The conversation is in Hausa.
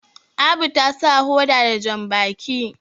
Abu ta sa hoda da jambaki